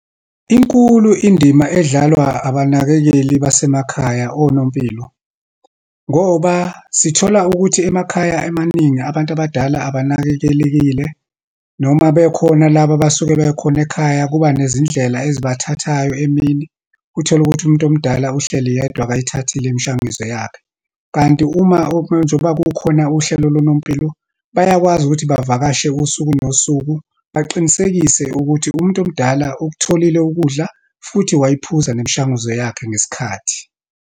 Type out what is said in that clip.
Inkulu indima edlalwa abanakekeli basemakhaya, onompilo. Ngoba sithola ukuthi emakhaya emaningi, abantu abadala abanakekelekile noma bekhona laba abasuke bekhona ekhaya, kuba nezindlela ezibathathayo emini. Utholukuthi umuntu omdala uhleli yedwa, akayithathile imishanguzo yakhe. Kanti uma njengoba kukhona uhlelo lonompilo, bayakwazi ukuthi bevakashe usuku nosuku, baqinisekise ukuthi umuntu omdala ukutholile ukudla, futhi wayiphuza nemishanguzo yakhe ngesikhathi.